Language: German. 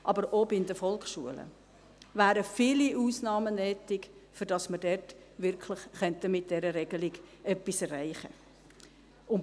Aber auch bei den Volksschulen wären viele Ausnahmen nötig, damit wir mit dieser Regelung wirklich etwas erreichen könnten.